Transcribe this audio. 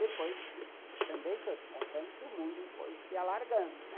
Depois, também estou te contando que o mundo foi se alargando, né?